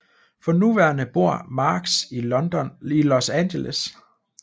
For nuværende bor Marx i Los Angeles